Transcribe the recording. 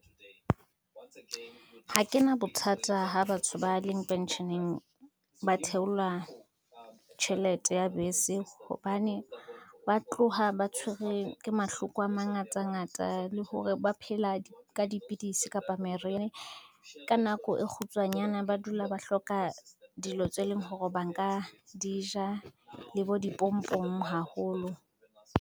Ha ke na bothata ha batho ba leng pensheneng ba theola tjhelete ya bese, hobane ba tloha ba tshwerwe ke mahloko a mangatangata le hore ba phela ka dipidisi kapa meri, ka nako e kgutswanyana ba dula ba hloka dilo tse leng hore ba nka di ja le bo dipompong haholo.